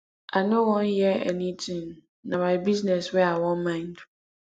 i no wan hear anything na my business wey i wan mind